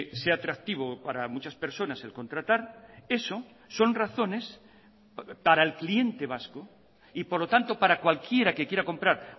sea atractivo para muchas personas el contratar eso son razones para el cliente vasco y por lo tanto para cualquiera que quiera comprar